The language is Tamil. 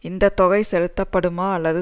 இந்த தொகை செலுத்தப்படுமா அல்லது